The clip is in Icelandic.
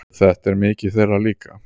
Þetta er mikið þeirra líka.